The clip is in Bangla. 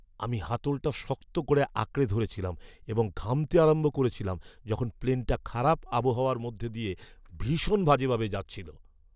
আমি হাতলটা শক্ত করে আঁকড়ে ধরেছিলাম এবং ঘামতে আরম্ভ করেছিলাম যখন প্লেনটা খারাপ আবহাওয়ার মধ্যে দিয়ে ভীষণ বাজেভাবে যাচ্ছিল।